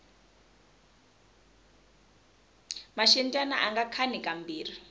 maxindyani anga khani ka mbirhi